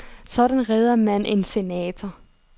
Sådan reder man en senator.